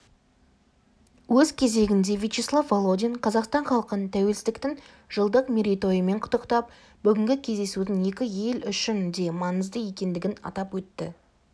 өз кезегінде вячеслав володин қазақстан халқын тәуелсіздіктің жылдық мерейтойымен құттықтап бүгінгі кездесудің екі ел үшін де маңызды екендігін атап өтті